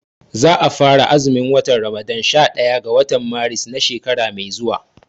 Za a fara azumin watan Ramadan sha ɗaya ga watan Maris na shekara mai zuwa